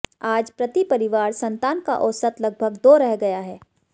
आज प्रति परिवार संतान का औसत लगभग दो रह गया है